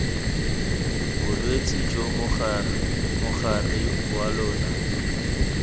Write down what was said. bolwetse jo mogare wa lona